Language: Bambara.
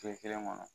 Kile kelen kɔnɔ